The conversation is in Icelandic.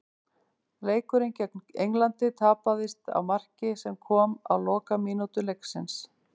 Leikurinn gegn Englandi tapaðist á marki sem kom á lokamínútu leiksins.